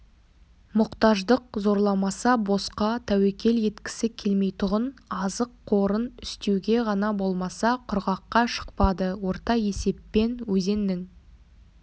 мұқтаждық зорламаса босқа тәуекел еткісі келмейтұғын азық қорын үстеуге ғана болмаса құрғаққа шықпады орта есеппен өзеннің